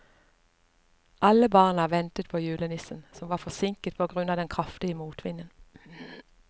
Alle barna ventet på julenissen, som var forsinket på grunn av den kraftige motvinden.